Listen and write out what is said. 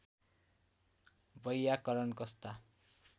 वैयाकरण कस्ता